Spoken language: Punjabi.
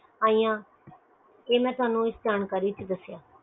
ਆਈਆਂ ਤੁਹਾਨੂੰ ਇਸ ਜਾਣਕਾਰੀ ਵਿਚ ਦੱਸਿਆ